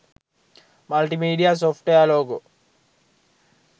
multimedia software logo